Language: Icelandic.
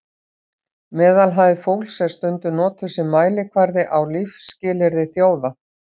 meðalhæð fólks er stundum notuð sem mælikvarði á lífsskilyrði þjóða